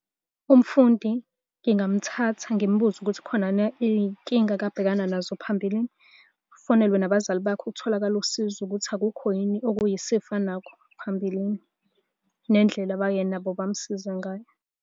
Umfundi ngingamuthatha ngimubuze ukuthi khonani iy'nkinga akabhekana nazo phambilini. Kufonelwe nabazali bakhe kutholakale usizo ukuthi akukho yini okuyisifo anakho phambilini. Nendlela abaye nabo bamsiza ngayo.